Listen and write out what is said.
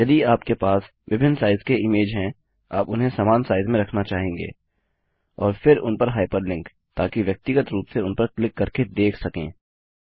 यदि आपके पास विभिन्न साइज़ के इमेज हैं आप उन्हें समान साइज़ में रखना चाहेंगे और फिर उन पर हाइपरलिंक ताकि व्यक्तिगत रूप से उन पर क्लिक करके देख सकें